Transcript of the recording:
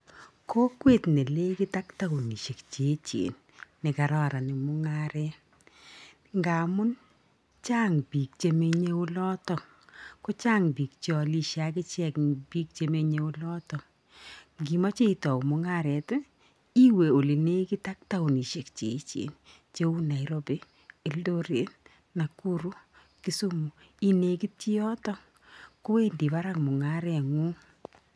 Kokwet nenegit ak townisek cheechen ne kararan eng mungaret ngaamun chang piik chemenye olotok kochang piik chealishe akichek ing piik chemenye olotok, Ngiimache itau mungaret iwe ole negit ak tounisek cheechen cheu Nairobi, Eldoret, Nakuru, Kisumu inekiti yotok kowendi barak mungaret ngung.